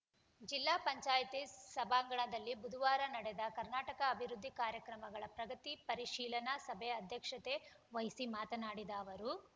ಜಿಲ್ಲಾ ಪಂಚಾಯತಿ ಸಭಾಂಗಣದಲ್ಲಿ ಬುಧವಾರ ನಡೆದ ಕರ್ನಾಟಕ ಅಭಿವೃದ್ಧಿ ಕಾರ್ಯಕ್ರಮಗಳ ಪ್ರಗತಿ ಪರಿಶೀಲನಾ ಸಭೆ ಅಧ್ಯಕ್ಷತೆ ವಹಿಸಿ ಮಾತನಾಡಿದ ಅವರು